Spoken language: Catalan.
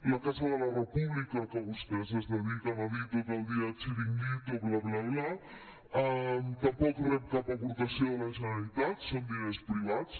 la casa de la república que vostès es dediquen a dir ne tot el dia chiringuito bla bla bla tampoc rep cap aportació de la generalitat són diners privats